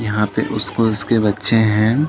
यहाँ पे उस स्कूलस् के बच्चे हैं।